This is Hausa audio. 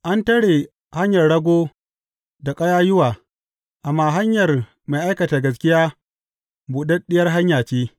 An tare hanyar rago da ƙayayyuwa, amma hanyar mai aikata gaskiya buɗaɗɗiyar hanya ce.